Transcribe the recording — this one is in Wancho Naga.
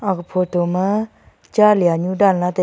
aga photo ma cha lia nu danla taiga.